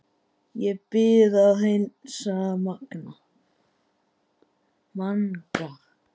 Ég bið að heilsa Manga!